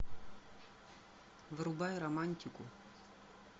врубай романтику